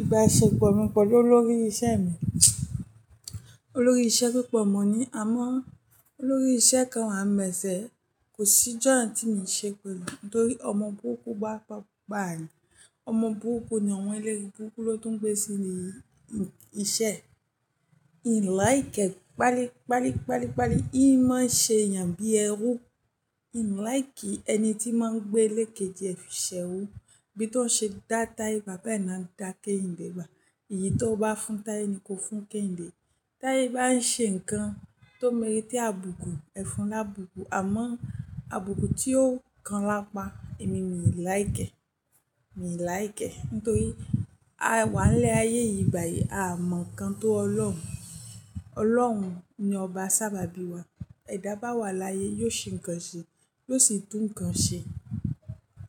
Ìbáṣepọ̀ mi pẹ̀lú olórí iṣẹ́ mi, olórí iṣẹ́ púpọ̀ mọ̀ ni. Àmọ́ olórí iṣẹ́ kan wa ń bẹ̀ se. Kò sí ìjọ́ tí mi ṣe pé lu nítorí ọmọ burúkú bá pa ni. Ọmọ burúkú ni àwọn ẹlẹ́rìí burúkú ló tún gbé sí inú iṣẹ́. Ihn like ẹ́, pali, pali, pali, pali. Í máa ń ṣe èèyàn bí ẹrú. Ihn like ẹni tí máa ń gbé lékéjì e fiṣẹ́ erú. Bí tó ṣe dá Taiye bá bẹ́ẹ̀ ni a ń dá Kehinde bá. Èyí tó bá fún Taiye ni kó fún Kehinde. T'aiye bá ń ṣe nǹkan tó ń mú tí a bùkú, ẹ fún lá'bùkù. Àmọ́ àbùkù tí ó kan lápá, èmi mi like ẹ́, mi like ẹ́. Nítorí àwa ń lẹ́ ayé yìí ìgbà yìí, a mọ̀ nǹkan tó Ọlọ́run. Ọlọ́run ni ọba sábàbí wa. Ẹ dá bá wa láyé, yóò ṣe nǹkan ṣe, yóò sì tún nǹkan ṣe.